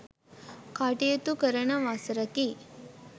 කටයුතු කරන වසරකි.